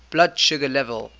blood sugar level